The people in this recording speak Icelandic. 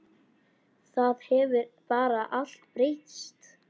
Það hefur bara allt breyst.